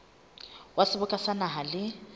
wa seboka sa naha le